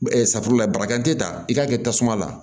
safunɛ la barika te taa i ka kɛ tasuma la